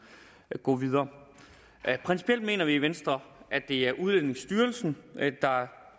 vil gå videre principielt mener vi i venstre at det er udlændingestyrelsen der